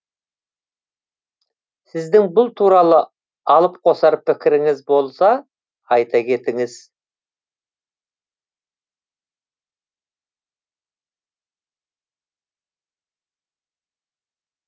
сіздің бұл туралы алып қосар пікіріңіз болса айта кетіңіз